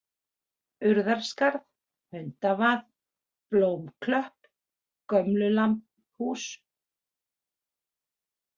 Urðarskarð, Hundavað, Blómaklöpp, Gömlulambhús